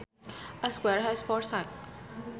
A square has four sides